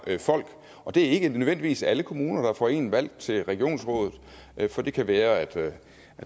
folk og det er ikke nødvendigvis alle kommuner der får en valgt til regionsrådet for det kan være at